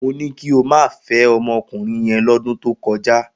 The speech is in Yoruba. Mo ní kí o má fẹ́ ọmọkùnrin yẹn lọ́dún tó kọjá!